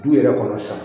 Du yɛrɛ kɔnɔ sa